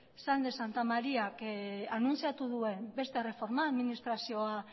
sáenz de santamaríak anuntziatu duen beste erreforma administrazioa